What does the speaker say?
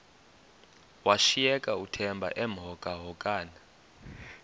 washiyeka uthemba emhokamhokana